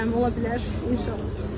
Gözləyirəm, ola bilər, inşallah.